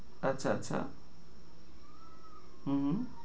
আচ্ছা আচ্ছা হু হুম